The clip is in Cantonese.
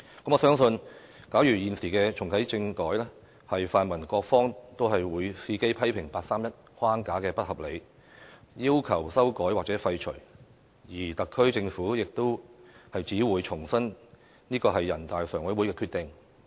我相信，假如現時重啟政改，泛民各方都會伺機批評八三一框架不合理，要求修改或廢除，而特區政府亦只會重申這是全國人大常委會的決定。